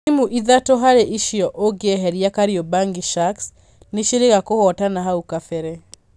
Timu ithatũ harĩ icio ũngieheria Kariobangi Sharks ni ciĩrĩga kũhotana hau kabere